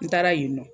N taara yen nɔ